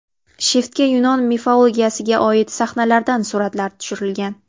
Shiftga yunon mifologiyasiga oid sahnalardan suratlar tushirilgan.